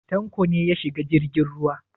Tanko ne ya shiga jirgin ruwa?